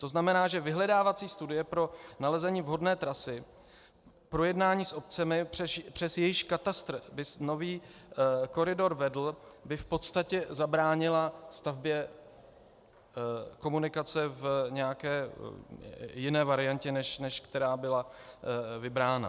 To znamená, že vyhledávací studie pro nalezení vhodné trasy, projednání s obcemi, přes jejichž katastr by nový koridor vedl, by v podstatě zabránila stavbě komunikace v nějaké jiné variantě, než která byla vybrána.